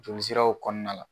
Jɔli siraw kɔɔna la